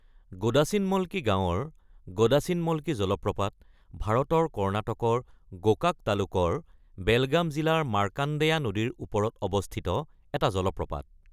গোদাচিনমলকি গাঁৱৰ গোদাচিনমলকি জলপ্ৰপাত ভাৰতৰ কৰ্ণাটকৰ গোকাক তালুকৰ বেলগাম জিলাৰ মাৰ্কাণ্ডেয়া নদীৰ ওপৰত অৱস্থিত এটা জলপ্ৰপাত।